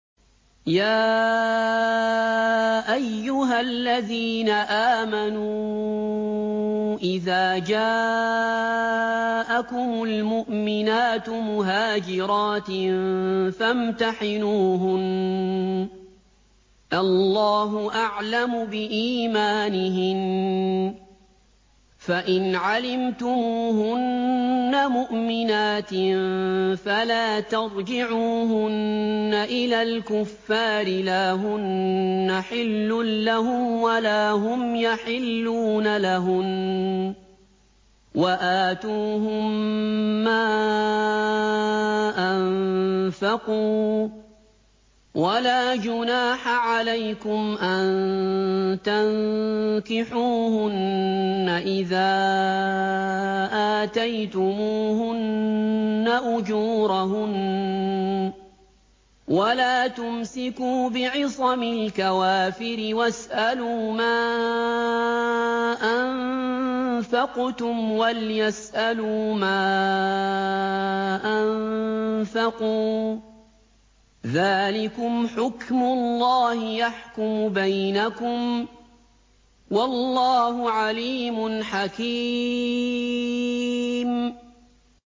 يَا أَيُّهَا الَّذِينَ آمَنُوا إِذَا جَاءَكُمُ الْمُؤْمِنَاتُ مُهَاجِرَاتٍ فَامْتَحِنُوهُنَّ ۖ اللَّهُ أَعْلَمُ بِإِيمَانِهِنَّ ۖ فَإِنْ عَلِمْتُمُوهُنَّ مُؤْمِنَاتٍ فَلَا تَرْجِعُوهُنَّ إِلَى الْكُفَّارِ ۖ لَا هُنَّ حِلٌّ لَّهُمْ وَلَا هُمْ يَحِلُّونَ لَهُنَّ ۖ وَآتُوهُم مَّا أَنفَقُوا ۚ وَلَا جُنَاحَ عَلَيْكُمْ أَن تَنكِحُوهُنَّ إِذَا آتَيْتُمُوهُنَّ أُجُورَهُنَّ ۚ وَلَا تُمْسِكُوا بِعِصَمِ الْكَوَافِرِ وَاسْأَلُوا مَا أَنفَقْتُمْ وَلْيَسْأَلُوا مَا أَنفَقُوا ۚ ذَٰلِكُمْ حُكْمُ اللَّهِ ۖ يَحْكُمُ بَيْنَكُمْ ۚ وَاللَّهُ عَلِيمٌ حَكِيمٌ